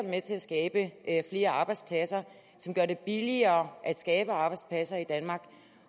med til at skabe flere arbejdspladser og som gør det billigere at skabe arbejdspladser i danmark